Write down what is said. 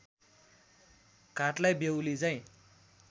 घाटलाई बेहुली झै